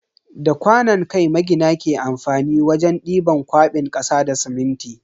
Da kwanon kai magina ke amfani wajen diban kwabin kasa da siminti.